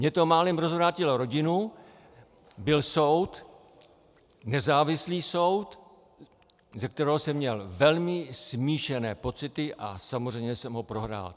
Mně to málem rozvrátilo rodinu, byl soud, nezávislý soud, ze kterého jsem měl velmi smíšené pocity a samozřejmě jsem ho prohrál.